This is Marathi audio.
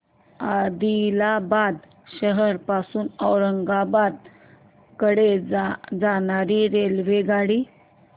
आदिलाबाद शहर पासून औरंगाबाद कडे जाणारी रेल्वेगाडी